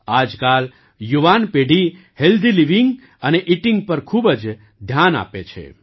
આજકાલ યુવાન પેઢી હેલ્ધી લિવિંગ અને ઇટિંગ પર ખૂબ જ ધ્યાન આપે છે